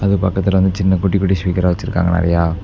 அதுக்கு பக்கத்துல வந்து சின்ன குட்டி குட்டி ஸ்பீக்கரா வெச்சுருக்காங்க நெறையா.